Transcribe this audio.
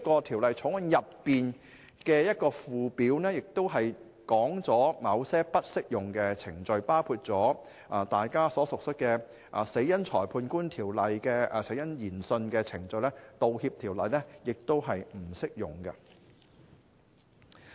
《條例草案》的附表亦列出了某些不適用的程序，包括大家所熟悉，根據《死因裁判官條例》進行的死因研訊程序，《條例草案》亦不適用。